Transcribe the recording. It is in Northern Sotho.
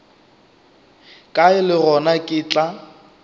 kae le gona ke tla